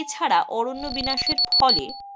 এছাড়া অরণ্য বিনাশের ফলে,